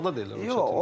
Yox, qaçmaqda da elə.